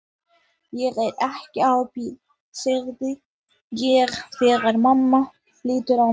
Ég er ekki á bíl, segi ég þegar mamma lítur á mig.